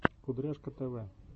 кудряшка тв